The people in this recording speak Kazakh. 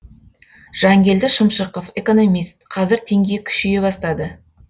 жангелді шымшықов экономист қазір теңге күшейе бастады